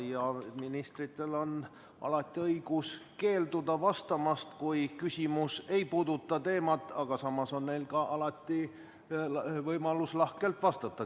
Ministritel on alati õigus vastamast keelduda, kui küsimus ei puuduta kõnealust teemat, samas on neil alati võimalus küsijale ka lahkelt vastata.